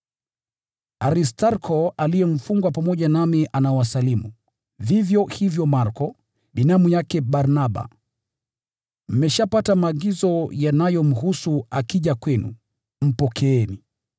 Aristarko aliye mfungwa pamoja nami anawasalimu, vivyo hivyo Marko, binamu yake Barnaba. (Mmeshapata maagizo yanayomhusu; akija kwenu, mpokeeni.)